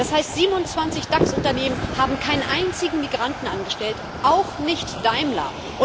2. Das heißt 27 DAX Unternehmen haben keinen einzigen Migranten angestellt, auch nicht Daimler!